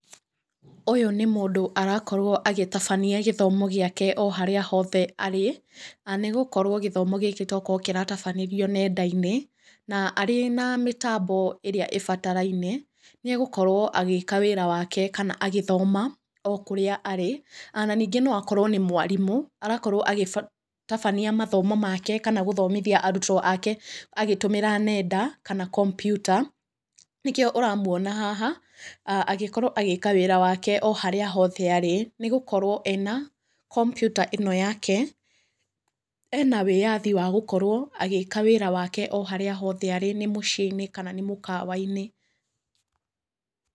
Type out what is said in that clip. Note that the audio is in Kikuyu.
Ũyũ nĩ mũndũ arakorwo agĩtabania gĩthomo gĩake o harĩa hothe arĩ, nĩ gũkorwo gĩthomo gĩkĩ tokorwo kĩratabanĩrio nenda-inĩ, na arĩ na mĩtambo ĩrĩa ĩbataraine, nĩ egũkorwo agĩĩka wĩra wake kana agĩthoma o kũrĩa arĩ. Na ningĩ no akorwo nĩ mwarimũ, arakorwo agĩtabania mathomo make kana gũthomithia arutwo ake agĩtũmĩra nenda, kana kompiuta, nĩkĩo ũramuona haha agĩkorwo agĩĩka wĩra wake harĩa hothe arĩ, nĩ gũkorwo ena kompiuta ĩno yake, ena wĩyathi wa gũkorwo agĩĩka wĩra wake o harĩa hothe arĩ nĩ mũciĩ-inĩ, kana nĩ mũkawa-inĩ.